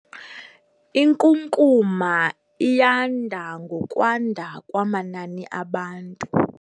Inkunkuma iyanda ngokwanda kwamanani abantu.